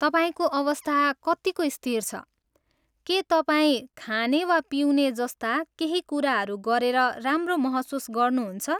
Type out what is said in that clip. तपाईँको अवस्था कत्तिको स्थिर छ, के तपाईँ खाने वा पिउने जस्ता केही कुराहरू गरेर राम्रो महसुस गर्नुहुन्छ?